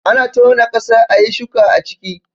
Ana tona ƙasa ayi shuka a ciki